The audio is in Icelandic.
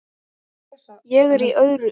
Ég er í öðru.